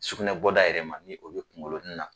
Sugunɛ bɔda yɛrɛ ma ni o bɛ kungolonin na.